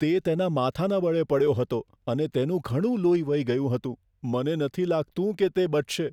તે તેના માથાના બળે પડ્યો હતો અને તેનું ઘણું લોહી વહી ગયું હતું. મને નથી લાગતું કે તે બચશે.